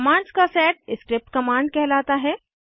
commands का set script commands कहलाता है